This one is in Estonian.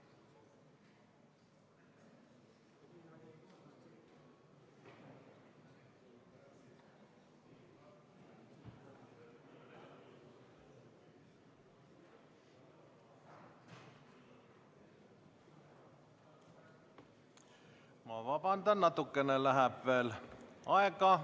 Ma vabandan, natukene läheb veel aega.